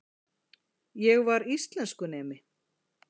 Ég var íslenskunemi.